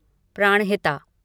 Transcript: Pranahita